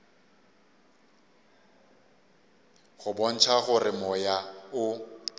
go bontšha gore moya o